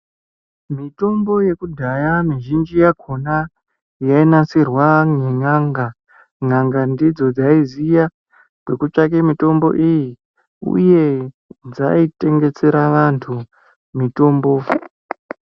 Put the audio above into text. Mitombo yekudhaya mizhinji yakhona yainasira nen'anga. N'anga ndidzo dzaiziya kwekutsvaka mitombo iyi, uye dzaitengesera vantu mitombo.